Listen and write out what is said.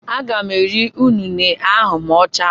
Aga m ere unine ahụ ma ọ chaa.